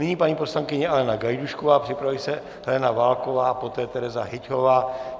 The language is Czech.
Nyní paní poslankyně Alena Gajdůšková, připraví se Helena Válková, poté Teraza Hyťhová.